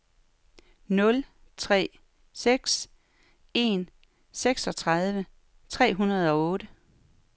nul tre seks en seksogtredive tre hundrede og otte